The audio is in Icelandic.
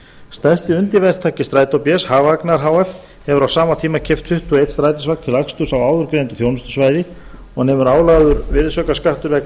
stærsti undirverktaki strætó bs hagvagnar h f hefur á sama tíma keypt tuttugu og eitt strætisvagn til aksturs á áðurgreindu þjónustusvæði og nemur álagður virðisaukaskattur vegna